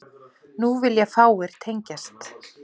Nú vilja fáir tengjast